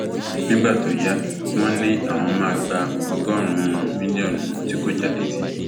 nígbà tó yá wọn ní àwọn máa gba ọgọrùnún mílíọnù tí kò já létí